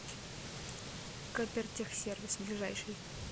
копиртехсервис ближайший